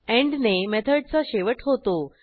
end ने मेथडचा शेवट होतो